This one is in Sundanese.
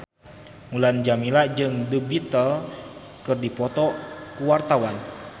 Mulan Jameela jeung The Beatles keur dipoto ku wartawan